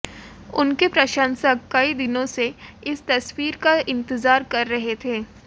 उनके प्रशंसक कई दिनों से इस तस्वीर का इंतजार कर रहे थे